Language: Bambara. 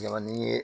Jɔnni ye